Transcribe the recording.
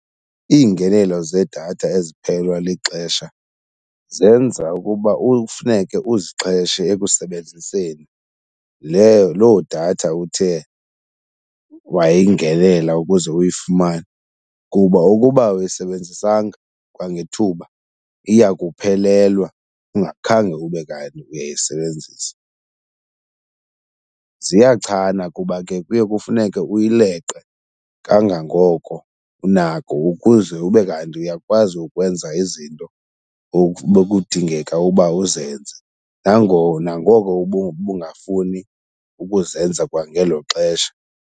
Iingenelo zedatha eziphelelwa lixesha zenza ukuba ufuneke uzixheshe ekusebenziseni leyo loo datha uthe wayingenela ukuze uyifumane kuba ukuba awuyisebenzisanga kwangethuba iya kuphelelwa ungakhange ube kanti uyayisebenzisa. Ziyachana kuba ke kuye kufuneke uyileqe kangangoko unako ukuze ube kanti uyakwazi ukwenza izinto bekudingeka uba uzenze nangona ngoko ubungafuni ukuzenza kwangelo xesha.